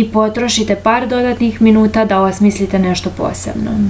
i potrošite par dodatnih minuta da osmislite nešto posebno